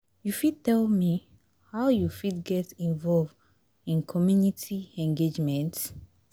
You fit tell me how you fit get involve in community engagement?